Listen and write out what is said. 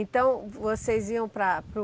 Então, vocês iam para a para o